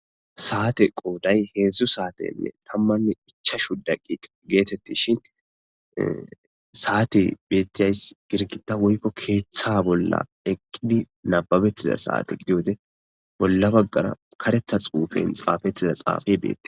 saate qooday heedzdzu saatenne tammanni ichashu daqiq geetetti shin saate bettiyays girkita woykko keeththa bolla eqqidi nababettiza saate gidode bolla baggara karetha xuufen xaafettiza xaafey beette